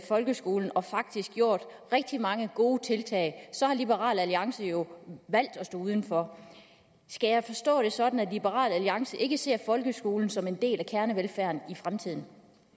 folkeskolen og faktisk gjort rigtig mange gode tiltag så har liberal alliance jo valgt at stå udenfor skal jeg forstå det sådan at liberal alliance ikke ser folkeskolen som en del af kernevelfærden i fremtiden